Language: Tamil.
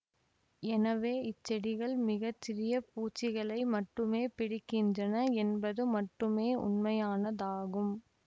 எனவே இச்செடிகள் மிக சிறிய பூச்சிகளை மட்டுமே பிடிக்கின்றன என்பது மட்டுமே உண்மையானதாகும்